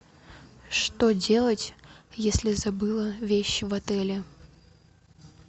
что делать если забыла вещи в отеле